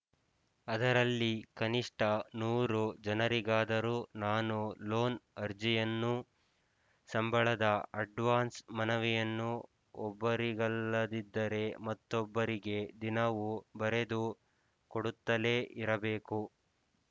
ಅದರಲ್ಲಿ ಕನಿಷ್ಠ ನೂರು ಜನರಿಗಾದರೂ ನಾನು ಲೋನ್ ಅರ್ಜಿಯನ್ನೂ ಸಂಬಳದ ಅಡ್ವಾನ್ಸ್‌ ಮನವಿಯನ್ನೂ ಒಬ್ಬರಿಗಲ್ಲದಿದ್ದರೆ ಮತ್ತೊಬ್ಬರಿಗೆ ದಿನವೂ ಬರೆದು ಕೊಡುತ್ತಲೇ ಇರಬೇಕು